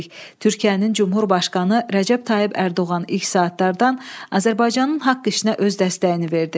Türkiyənin Cümhurbaşqanı Rəcəb Tayyib Ərdoğan ilk saatlardan Azərbaycanın haqq işinə öz dəstəyini verdi.